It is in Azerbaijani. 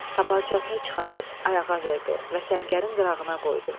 Tapancasını çıxarıb ayağa verdi və səngərin qırağına qoydu.